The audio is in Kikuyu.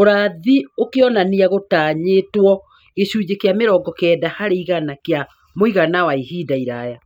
urathi ũkĩonania gũtanyĩtwo gĩcunjĩ kĩa mĩrongo kenda harĩ igana kĩa mũigana wa ihinda iraya